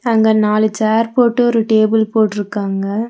அங்க நாலு சேர் போட்டு ஒரு டேபிள் போட்ருக்காங்க.